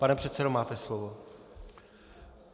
Pane předsedo, máte slovo.